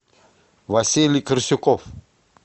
василий корсюков